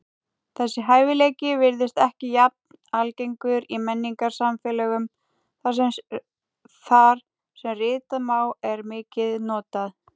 Þessi hæfileiki virðist ekki jafn algengur í menningarsamfélögum þar sem ritað mál er mikið notað.